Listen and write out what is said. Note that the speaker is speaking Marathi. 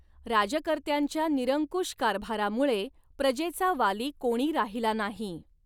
राजकर्त्यांच्या निरंकुश कारभारामुळे प्रजेचा वाली कोणी राहिला नाही.